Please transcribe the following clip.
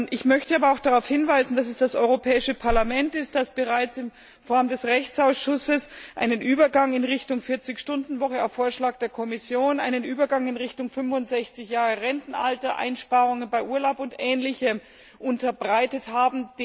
Ich möchte aber auch darauf hinweisen, dass es das Europäische Parlament ist, das bereits in Form des Rechtsausschusses einen Übergang in Richtung 40 Stunden Woche auf Vorschlag der Kommission, einen Übergang in Richtung 65 Jahre Rentenalter, Einsparungen bei Urlaub und Ähnlichem unterbreitet hat.